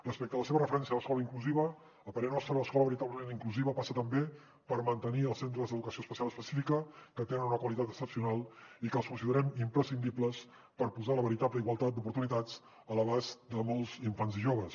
respecte a la seva referència a l’escola inclusiva a parer nostre l’escola veritablement inclusiva passa també per mantenir els centres d’educació especial específica que tenen una qualitat excepcional i que els considerem imprescindibles per posar la veritable igualtat d’oportunitats a l’abast de molts infants i joves